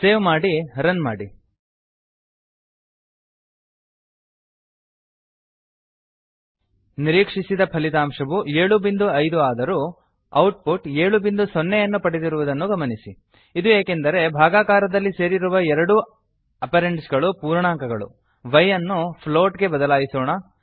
save ಮಾಡಿ run ಮಾಡಿ ನಿರೀಕ್ಷಿಸಿದ ಫಲಿತಾಂಶವು 75 ಏಳು ಬಿಂದು ಐದುಆದರೂ ಔಟ್ ಪುಟ್ 70 ಏಳು ಬಿಂದು ಸೊನ್ನೆ ಯನ್ನು ಪಡೆದಿರುವುದನ್ನು ಗಮನಿಸಿ ಇದು ಏಕೆಂದರೆ ಭಾಗಾಕಾರದಲ್ಲಿ ಸೇರಿರುವ ಎರಡೂ ಅಪರೆಂಡ್ಸಗಳು ಪೂರ್ಣಾಂಕಗಳು y ವೈ ನ್ನು ಫ್ಲೋಟ್ ಪ್ಲೋಟ್ ಗೆ ಬದಲಿಸೋಣ